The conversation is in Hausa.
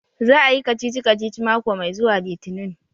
Za a Yi kacici-kaci mako mai zuwa litinin.